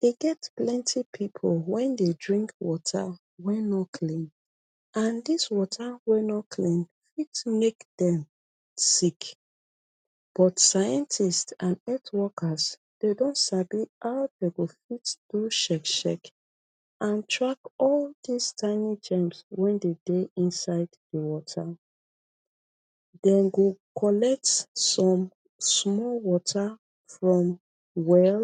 Dey get plenty pipu wen dey drink water wey no clean, and dis water wey no clean fit make dem sick. But scientist and het wokas, dey don sabi how dey go fit do shek shek and track all dis tiny germs wen dey dey inside water. Dem go collect some sumol water from well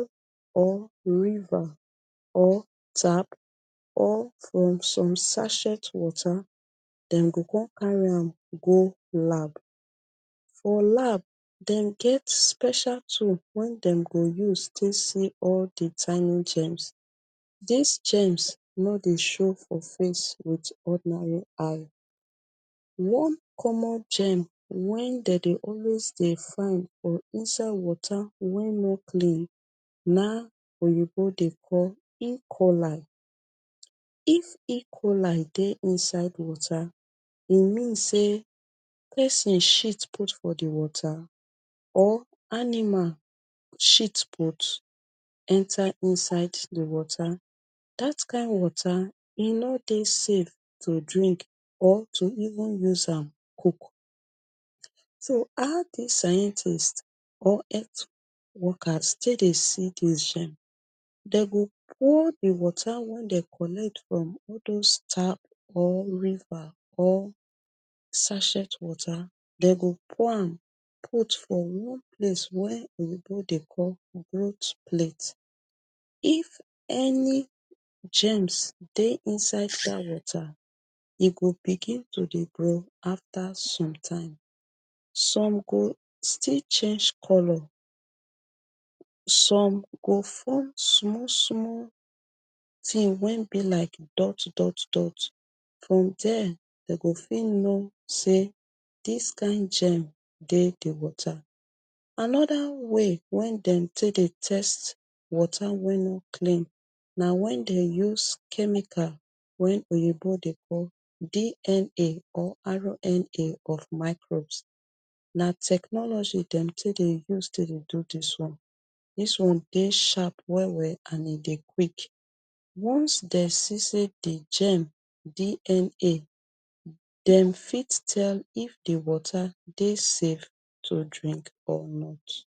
or river or tap or from some sachet water. Dem go come carry am go lab. For lab, dem get special tool wen dem go use take see all di tiny germs. These germs no dey show for face wit ordinary eye. One common germ wen dem dey always dey find for inside water wey no clean, na oyibo dey call E. coli. If E coli dey inside water, e mean say pesin shit put for di water, or anima shit put enter inside di water. Dat kain water e no dey safe to drink or to even use am cook. So how dis scientist or het wokas take dey see dis germ? Dey go pour di water wen dem collect from all dose tap or river or sachet water, dem go pour am put for one place wey Oyibo dey call growt plate. If any germs dey inside dat water, e go begin to dey grow after some time. Some go still change color, some go form sumol sumol tin wen be like dot dot dot. From there, dem go fit know say dis kain germ dey di water. Another way wen dem take dey test water wey no clean na when dem use chemical wen Oyibo dey call DNA or RNA of microbes. Na technology dem take dey use to dey do this one. Dis one dey sharp well well and e dey quick. Once dem see say di germ DNA, dem fit tell if di water dey safe to drink or not.